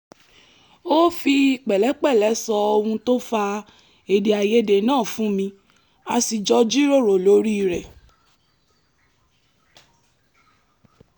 ó fi pẹ̀lẹ́pẹ̀lẹ́ sọ ohun tó fa èdèàìyedè náà fún mi a sì jọ jíròrò lórí rẹ̀